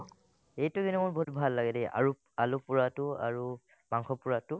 এইটো কিন্তু মোৰ বহুত ভাল লাগে দেই আৰু আলু পোৰাটো আৰু মাংস পোৰাটো